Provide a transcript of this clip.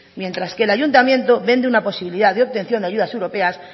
mientras que el ayuntamiento vende una posibilidad de obtención de ayudas europeas